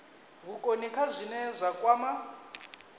vhukoni kha zwine zwa kwama